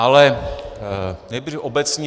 Ale nejdřív obecně.